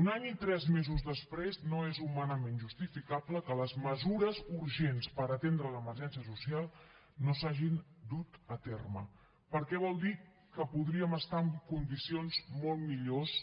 un any i tres mesos després no és humanament justificable que les mesures urgents per atendre l’emergència social no s’hagin dut a terme perquè vol dir que podríem estar en condicions molt millors